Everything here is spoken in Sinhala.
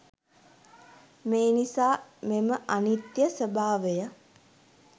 මේ නිසා මෙම අනිත්‍ය ස්වභාවය